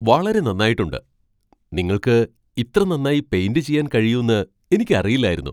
വളരെ നന്നായിട്ടുണ്ട് ! നിങ്ങൾക്ക് ഇത്ര നന്നായി പെയിന്റ് ചെയ്യാൻ കഴിയുന്ന് എനിക്കറിയില്ലായിരുന്നു!